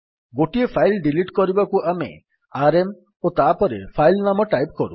ଗୋଟିଏ file delete କରିବାକୁ ଆମେ ଆରଏମ୍ ଓ ତାପରେ ଫାଇଲ୍ ନାମ ଟାଇପ୍ କରୁ